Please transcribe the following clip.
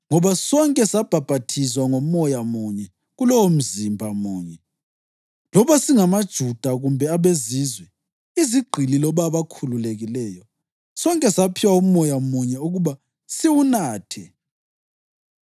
Ngoba sonke sabhaphathizwa ngoMoya munye kulowomzimba munye, loba singamaJuda kumbe abeZizwe, izigqili loba abakhululekileyo, sonke saphiwa uMoya munye ukuba siwunathe.